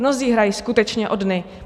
Mnozí hrají skutečně o dny.